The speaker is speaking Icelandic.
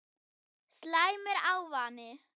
Slæmur ávani